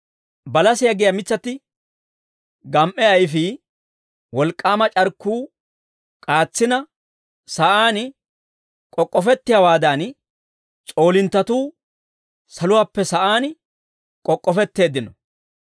Balasiyaa giyaa mitsatti gam"e ayfii, wolk'k'aama c'arkkuu k'aatsina, sa'aan k'ok'k'ofettiyaawaadan, s'oolinttatuu saluwaappe sa'aan k'ok'k'ofetteeddino.